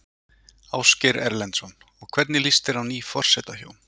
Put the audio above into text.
Ásgeir Erlendsson: Og hvernig líst þér á ný forsetahjón?